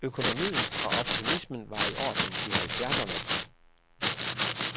Økonomien og optimismen var i orden i halvfjerdserne.